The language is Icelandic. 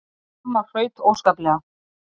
Amma hraut óskaplega.